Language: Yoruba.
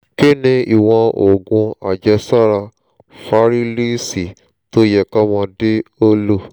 kí ni ìwọ̀n òògun àjẹ́sára fárílíìsì tó yẹ kọ́mọdé ó lò?